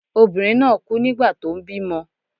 Obìnrin náà kú nígbà tó ń bímọ.